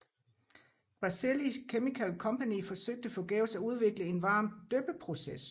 Grasselli Chemical Company forsøgte forgæves at udvikle en varm dyppeproces